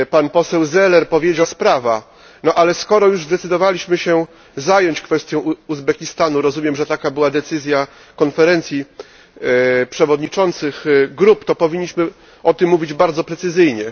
Poseł Zeller powiedział, że to nie jest pilna sprawa, ale skoro już zdecydowaliśmy się zająć kwestią Uzbekistanu rozumiem, że taka była decyzja Konferencji Przewodniczących Grup to powinniśmy o tym mówić bardzo precyzyjnie.